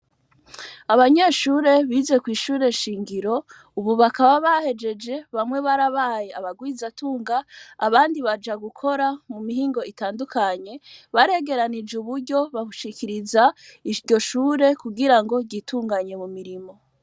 Abanyeshure bize kw'ishure shingiro, ubu bakaba bahejeje bamwe barabaye abagwizatunga abandi baja gukora mu mihingo itandukanye baregeranije uburyo babushikiriza iryo shure kugira ngo ryitunganye mu mirimo.